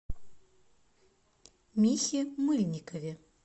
михе мыльникове